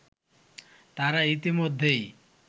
তারা ইতিমধ্যেই